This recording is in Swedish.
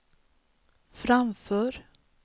framför